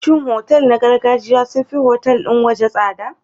Shin otal na gargajiya sun fi otal ɗin waje tsada?